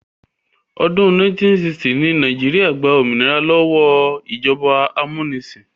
Ọdún 1960 ni Nàìjíríà gba òmìnira lọ́wọ́ ìjọba amúnisìn